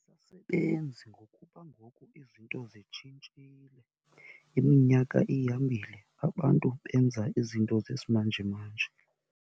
Asisasebenzi ngokuba ngoku izinto zitshintshile, iminyaka ihambile abantu benza izinto zesimanjemanje.